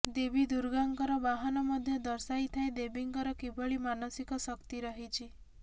ଦେବି ଦୁର୍ଗାଙ୍କର ବାହାନ ମଧ୍ୟ ଦର୍ଶାଇଥାଏ ଦେବୀଙ୍କର କିଭଳି ମାନସିକ ଶକ୍ତି ରହିଛି